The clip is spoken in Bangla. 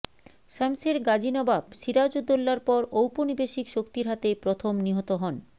শমসের গাজী নবাব সিরাজ উদ দৌলার পর ঔপনিবেশিক শক্তির হাতে প্রথম নিহত হন